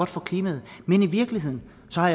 for klimaet men i virkeligheden har